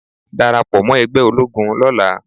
Darapọ̀ mọ́ ẹgbẹ́ ológun lọ́la.